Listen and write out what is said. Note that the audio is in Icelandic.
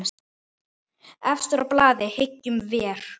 Efstur á blaði, hyggjum vér.